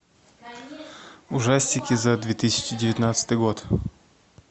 ужастики за две тысячи девятнадцатый год